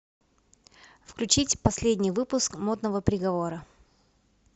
включить последний выпуск модного приговора